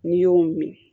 N'i y'o min